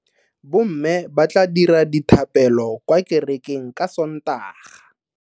Bomme ba tla dira dithapelo kwa kerekeng ka Sontaga.